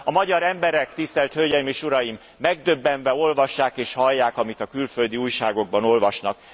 A magyar emberek, tisztelt hölgyeim és uraim, megdöbbenve olvassák és hallják, amit a külföldi újságokban olvasnak.